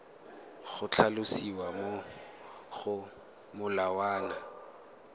go tlhalosiwa mo go molawana